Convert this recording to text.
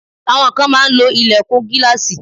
Àwọn kan máa ń lo ìlẹ̀kùn gíláàsì.